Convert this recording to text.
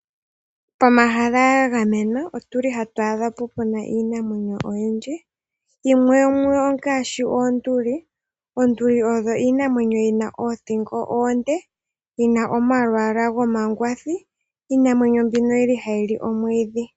Pomahala ga gamenwa ohapu adhika iinamwenyo oyindji. Yimwe yomuyo ongaashi oonduli. Oonduli odho iinamwenyo yi na oothingo oonde, yi na omalwaala gomangwathi. Iinamwenyo mbino ohayi li omwiidhi.